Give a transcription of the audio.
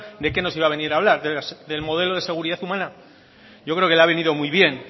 de qué nos iba a venir a hablar del modelo de seguridad humana yo creo que le ha venido muy bien